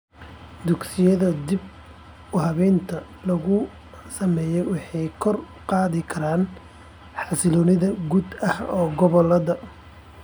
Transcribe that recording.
Dugsiyada dib uhabaynta lagu sameeyay waxay kor u qaadi karaan xasiloonida guud ahaan gobolada .